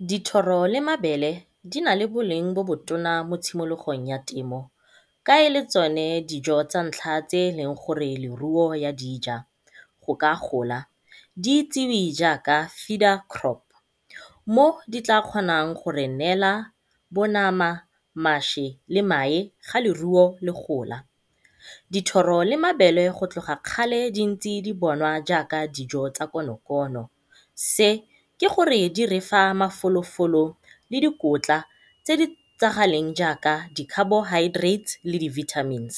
Dithoro le mabele di nale boleng bo bo tona mo tshimologong ya temo ka ele tsone dijo tsa ntlha tse eleng gore leruo ya dija go ka gola, di itsewe jaaka crop mo di tla kgonang go re neela bo nama, mašwi le mae ga leruo le gola. Dithoro le mabele go tloga kgale di ntse bonwa jaaka dijo tsa konokono, se ke gore di refa mafolofolo le dikotla tse di itsagaleng jaaka di-carbohydrates le di-vitamins.